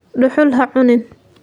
Dhuxul ha cunin.